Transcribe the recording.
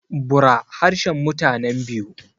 bura harshen mutanen biu